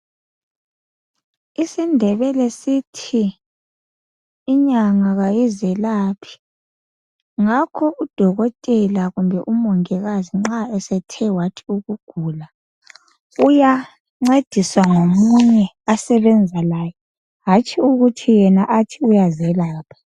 IsiNdebele sithi inyanga kayizelaphi ngakho udokotela kumbe umongikazi nxa esethe wathi ukugula uyancediswa ngomunye asebenza laye hatshi ukuthi yena athi uyazelapha.